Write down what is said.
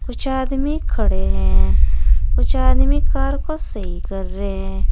कुछ आदमी खड़े हैं। कुछ आदमी कार को सही कर रे --